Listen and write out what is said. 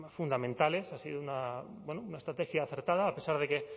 fundamentales ha sido una estrategia acertada a pesar de que